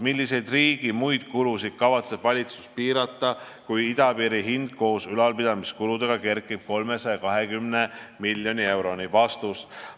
Milliseid riigi muid kulusid kavatseb valitsus piirata, kui idapiiri hind koos ülalpidamiskuludega kerkib 320 miljoni euroni?